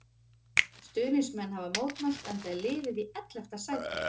Stuðningsmenn hafa mótmælt enda er liðið í ellefta sæti.